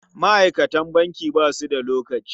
Ma'aikatan banki ba su da lokaci.